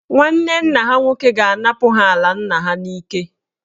Nwanne nna ha nwoke ga-anapụ ha ala nna ha n'ike.